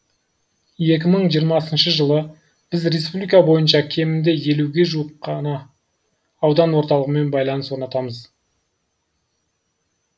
екі мың жиырмасыншы жылы біз республика бойынша кемінде елуге жуық жаңа аудан орталығымен байланыс орнатамыз